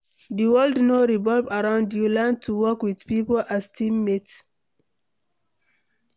Di world no revolve around you, learn to work with pipo as team mate